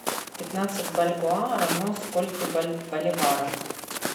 пятнадцать бальбоа равно скольким боливарам